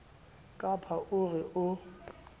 ka ba o re o